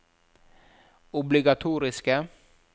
obligatoriske